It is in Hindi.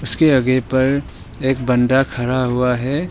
उसके आगे पर एक बंदा खड़ा हुआ है।